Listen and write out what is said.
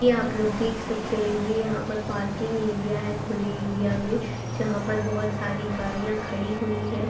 ये आप लोग देख सकते हैं यहां पर पार्किंग एरिया है खुली एरिया में जहां पर बोझोत सारी गाड़ियां खड़ी हुई हैं।